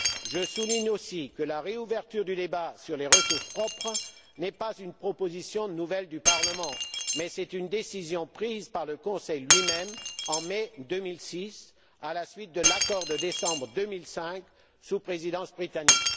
Je souligne aussi que la réouverture du débat sur les ressources propres n'est pas une proposition nouvelle du Parlement, mais une décision prise par le Conseil lui même en mai 2006, à la suite de l'accord de décembre 2005, sous Présidence britannique.